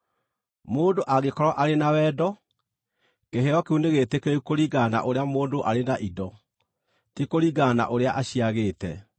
Mũndũ angĩkorwo arĩ na wendo, kĩheo kĩu nĩgĩtĩkĩrĩku kũringana na ũrĩa mũndũ arĩ na indo, ti kũringana na ũrĩa aciagĩte.